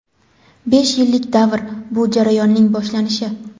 Besh yillik davr – bu jarayonning boshlanishi.